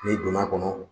N'i donn'a kɔnɔ